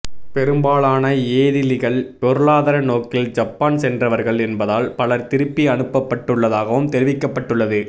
பெரும்பாலான ஏதிலிகள் பொருளாதார நோக்கில் ஜப்பான் சென்றவர்கள் என்பதால் பலர் திருப்பி அனுப்பப்பட்டுள்ளதாகவும் தெரிவிக்கப்பட்டுள்ளது